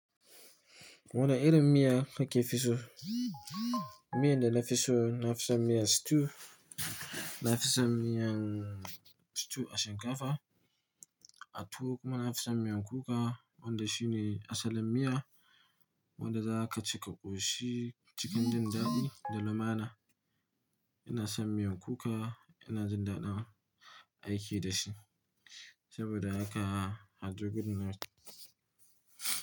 Wane irin miya kake fi so, miyan da na fi so, na fi son miyan stew, nafi son miyan stew a shinkafa, a tuwo kuma na fi samun miyan kuka, wanda shi ne asalin miya wanda za a ka cika ƙoshi cikin jin daɗi da lumana. Ina son miyan kuka, ina jin daɗin aiki da shi saboda haka hadu gudu na.